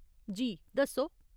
जी, दस्सो।